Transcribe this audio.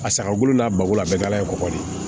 A sagagolo la bago la a bɛɛ dala ye kɔgɔ de ye